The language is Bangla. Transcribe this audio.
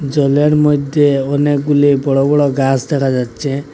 জলের মইধ্যে অনেকগুলি বড় বড় গাস দেখা যাচ্ছে।